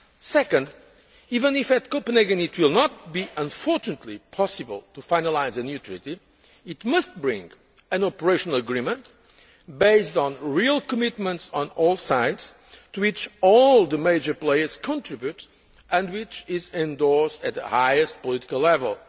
map. Second, even if at Copenhagen it will not unfortunately be possible to finalise a new treaty, it must bring an operational agreement based on real commitments on all sides, to which all the major players contribute and which is endorsed at the highest political level.